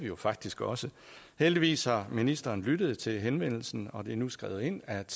jo faktisk også heldigvis har ministeren lyttet til henvendelsen og det er nu skrevet ind at